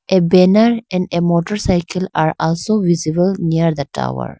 a banner and a motor cycle are also visible near the tower.